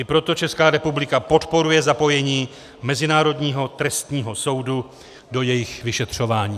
I proto Česká republika podporuje zapojení Mezinárodního trestního soudu do jejich vyšetřování.